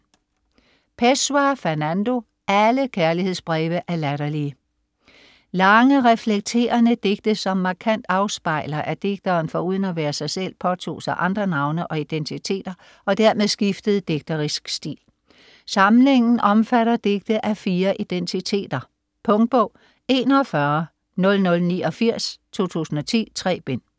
Pessoa, Fernando: Alle kærlighedsbreve er latterlige Lange, reflekterende digte som markant afspejler, at digteren foruden at være sig selv påtog sig andre navne og identiteter, og dermed skiftede digterisk stil. Samlingen omfatter digte af fire identiteter. Punktbog 410089 2010. 3 bind.